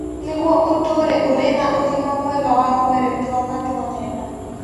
Nĩguo ũtũũre ũrĩ na ũgima mwega wa mwĩrĩ tua matua mega.